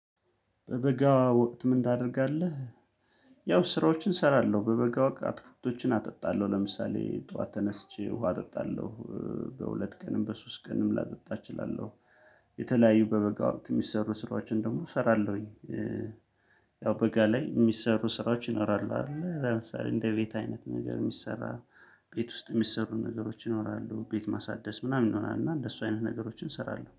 በበጋ ወቅት ምን ታደርጋለህ? ያው ስራዎችን እሰራለሁ በበጋ ወቅት አትክልቶችን አጠጣለሁ ለምሳሌ ጠዋት ተነስቼ ውሃ አጠጣለሁ። በሁለት ቀንም በሶስት ቀንም ላጠጣ እችላለሁ። የተለያዩ በበጋው ወቅት የሚሰሩ ስራዎችን ደግሞ እሰራለሁኝ። ያው በጋ ላይ የሚሰሩ ስራዎችን ይኖራሉ አይደል? ለምሳሌ እንደ ቤት አይነት ነገር የሚሰራ ቤት ውስጥ የሚሰሩ ነገሮች ይኖራሉ ቤት ማሳደስ ምናምን ይሆናል። እና እንደሱ አይነት ነገሮችን እሰራለሁ